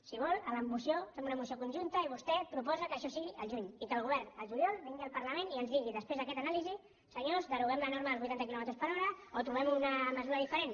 si vol a la moció fem una moció conjunta i vostè proposa que això sigui al juny i que el govern al juliol vingui al parlament i ens digui després d’aquesta anàlisi senyors deroguem la norma dels vuitanta quilòmetres per hora o trobem una mesura diferent